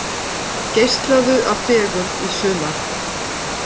Geislaðu af fegurð í sumar